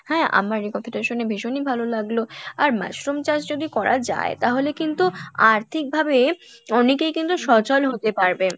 হ্যাঁ আমার এই কথা টা শুনে ভীষণই ভালো লাগলো আর mushroom চাষ যদি করা যাই তাহলে কিন্তু আর্থিক ভাবে অনেকেই কিন্তু সচল হতে পারবে,